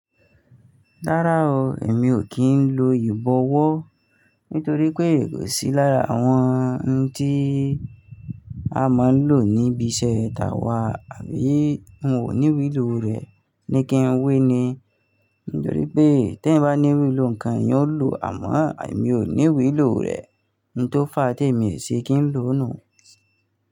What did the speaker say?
Rárá o, èmi ò kí ń lo ìbọ̀wọ́ nítorí pé èyí kò sí lára àwọn ohun tí a máa ń lò níbi iṣẹ́ táwà àbí n ò ní wí ìlò rẹ̀ ní kí ń wé ni. Nítorí pé tí ẹ̀ bá ní ìwé ìlò ǹkan yóò lò, àmọ́ àmi ò ní wí ìlò rẹ̀. Ohun tó fà á tí èmi ò ṣe kí ń lò nù.